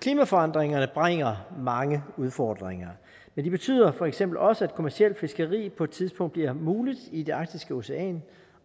klimaforandringerne bringer mange udfordringer men de betyder for eksempel også at kommercielt fiskeri på et tidspunkt bliver muligt i det arktiske ocean